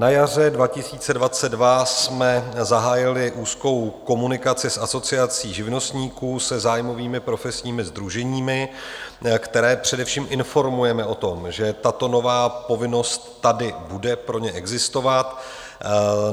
Na jaře 2022 jsme zahájili úzkou komunikaci s Asociací živnostníků, se zájmovými profesními sdruženími, která především informujeme o tom, že tato nová povinnost tady bude pro ně existovat.